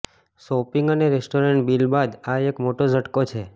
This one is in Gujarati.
શોપિંગ અને રેસ્ટોરન્ટ બિલ બાદ આ એક મોટો ઝટકો છે